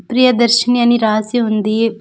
ప్రియదర్శిని అని రాసి ఉంది.